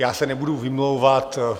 Já se nebudu vymlouvat.